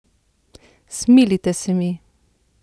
Smilite se mi!